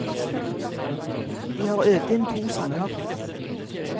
De har øvd inn to sanger.